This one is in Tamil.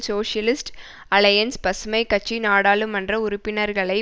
சோசியலிஸ்ட் அல்லையன்ஸ் பசுமை கட்சி நாடாளுமன்ற உறுப்பினர்களை